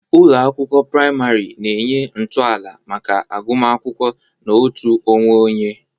Ụlọ akwụkwọ praịmarị na-enye ntọala maka agụmakwụkwọ na uto onwe onye.